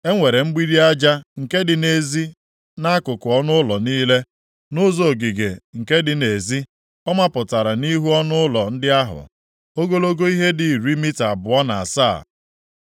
E nwere mgbidi aja nke dị nʼezi nʼakụkụ ọnụụlọ niile, nʼụzọ ogige nke dị nʼezi. Ọ mapụtara nʼihu ọnụụlọ ndị ahụ, ogologo ihe dị iri mita abụọ na asaa.